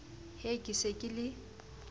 he ke se ke le